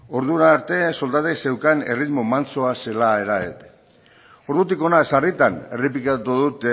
ordura arte soldatek zeukan erritmo mantsoa zela ordutik hona sarritan errepikatu dut